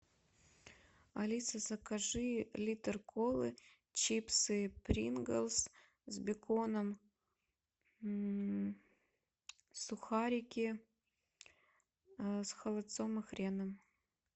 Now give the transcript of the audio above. алиса закажи литр колы чипсы принглс с беконом сухарики с холодцом и хреном